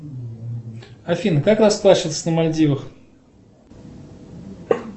афина как расплачиваться на мальдивах